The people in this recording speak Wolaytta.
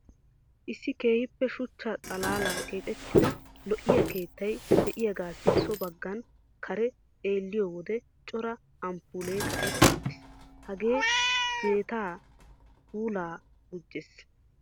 Issi keehippe shuchcha xalaalan keexettida lo"iya keettay de'iyagaassi so baggan kaaraa xeelliyo wode cora amppoollee kaqetti uttiis. Gagee jeettaa puulaa gujjiis.